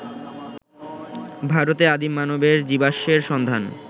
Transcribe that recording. ভারতে আদিম মানবের জীবাশ্মের সন্ধান